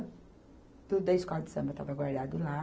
Tudo da escola de samba estava guardado lá.